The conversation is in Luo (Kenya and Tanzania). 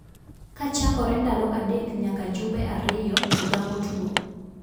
Ka chakore ndalo adek nyaka jumbe ariyo to gamo tuo.